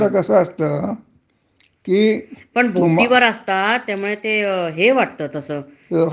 तुम्ही जर का आर्मीतच गेलात, हं. आणि तुम्हाला युद्धावर पाठवल. हं. तर मग ते असुरक्षितच राहील की.